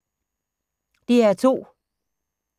DR2